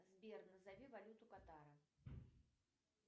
сбер назови валюту катара